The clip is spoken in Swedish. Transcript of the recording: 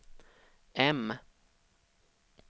M